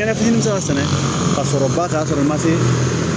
Kɛnɛ fitiinin bɛ se ka sɛnɛ ka sɔrɔ ba kan ka sɔrɔ i ma se